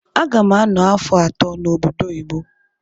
Agam ano afọ atọ na obodo oyibo.